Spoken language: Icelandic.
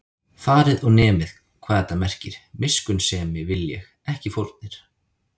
Farið og nemið, hvað þetta merkir: Miskunnsemi vil ég, ekki fórnir